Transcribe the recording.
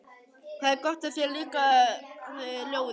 Það er gott að þér líkaði ljóðið.